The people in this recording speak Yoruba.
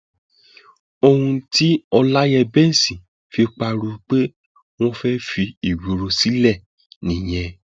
ohun tí ọláyẹǹbẹsì fi pariwo pé wọn fẹẹ fi ìgboro sílẹ nìyẹn